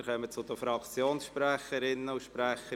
Wir kommen zu den Fraktionssprecherinnen und -sprechern.